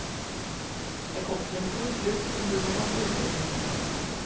Jeg kommer til en stor klubb som byr på masse utfordringer.